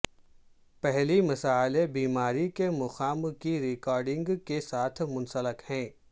پہلی مسئلہ بیماری کے مقام کی ریکارڈنگ کے ساتھ منسلک ہے